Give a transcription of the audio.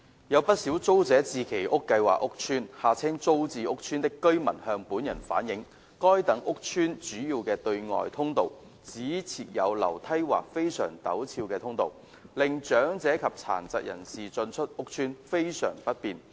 有不少租者置其屋計劃屋邨的居民向本人反映，該等屋邨的主要對外通道只設有樓梯或非常陡斜通道，令長者及殘疾人士進出屋邨非常不便。